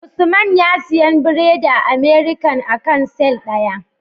Usman na siyan biredi a American akan sile daya